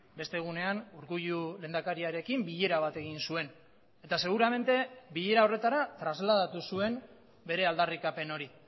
beste egunean urkullu lehendakariarekin bilera bat egin zuen eta seguramente bilera horretara trasladatu zuen bere aldarrikapen hori